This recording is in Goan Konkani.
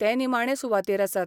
ते निमाणे सुवातेर आसात.